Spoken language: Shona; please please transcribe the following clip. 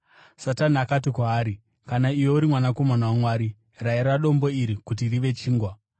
Satani akati kwaari, “Kana iwe uri mwanakomana waMwari, rayira dombo iri kuti rive chingwa.”